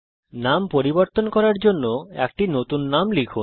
নাম পরিবর্তন করার জন্যে একটি নতুন নাম লিখুন